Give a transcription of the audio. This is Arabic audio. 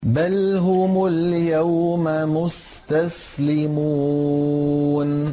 بَلْ هُمُ الْيَوْمَ مُسْتَسْلِمُونَ